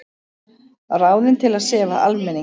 Ráðin til að sefa almenning